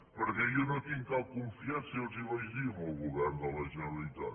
perquè jo no tinc cap confiança i ja els ho vaig dir en el govern de la generalitat